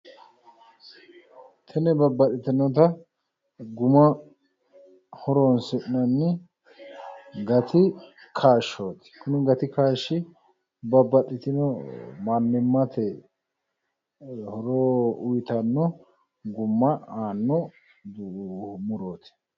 Tini babbaxxitinota guma horoonsi'nanni gati kaashshooti. Kuni gati kaashshi babbaxxitino mannimmate horo uyiitanno gumma aanno murooti.